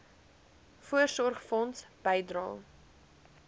voorsorgfonds bydrae